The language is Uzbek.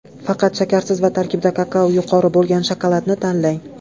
Faqat shakarsiz va tarkibida kakao yuqori bo‘lgan shokoladni tanlang!